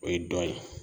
O ye dɔ ye